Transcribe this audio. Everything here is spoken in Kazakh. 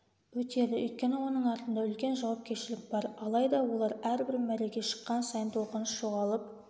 өтеді өйткені оның артында үлкен жауапкершілік бар алайда олар әрбір мәреге шыққан сайын толқыныс жоғалып